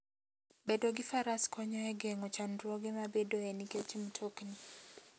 Bedo gi Faras konyo e geng'o chandruoge mabedoe nikech mtokni.